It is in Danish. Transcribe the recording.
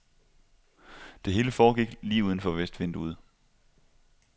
Det hele foregik lige uden for vestvinduet.